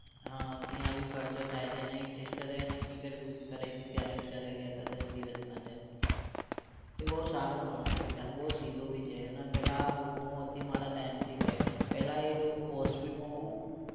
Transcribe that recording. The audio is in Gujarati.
ત્યાં બી ખર્ચો થાય છે એને એક sister એને ticket booking કરાઇ હતી ત્યારે બિચારા ગયા હતા દસ દિવસ માટે. એ બોવ સારો માણસ છે બિચારો બોવ સીધો ભી છે એના પેલા Docomo થી મારા time થી છે. પહેલા એ ડો postpaid માં બોવ